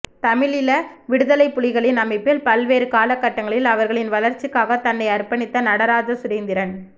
தமிழீழ விடுதலைப் புலிகளின் அமைப்பில் பல்வேறு காலகட்டங்களில் அவர்களின் வளர்ச்சிக்காக தன்னை அர்ப்பணித்த நடராஜா சுரேந்திரன்